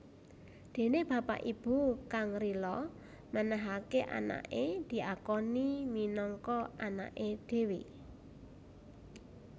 Dene bapak ibu kang rila menehake anake diakoni minangka anake dhewe